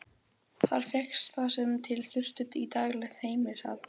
Þar fékkst það sem til þurfti í daglegt heimilishald.